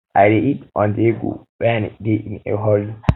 i dey eat onthego when i dey in a hurry